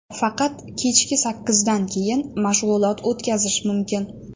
Faqat kechki sakkizdan keyin mashg‘ulot o‘tkazish mumkin.